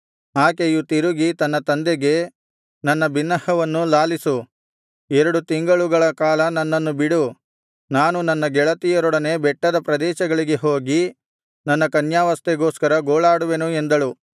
ಆಕೆಯು ತಿರುಗಿ ತನ್ನ ತಂದೆಗೆ ನನ್ನ ಬಿನ್ನಹವನ್ನು ಲಾಲಿಸು ಎರಡು ತಿಂಗಳುಗಳ ಕಾಲ ನನ್ನನ್ನು ಬಿಡು ನಾನು ನನ್ನ ಗೆಳತಿಯರೊಡನೆ ಬೆಟ್ಟದ ಪ್ರದೇಶಗಳಿಗೆ ಹೋಗಿ ನನ್ನ ಕನ್ಯಾವಸ್ಥೆಗೋಸ್ಕರ ಗೋಳಾಡುವೆನು ಎಂದಳು